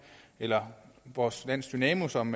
eller vores lands dynamo som